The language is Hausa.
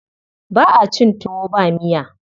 Ba a cin tuwo ba miya.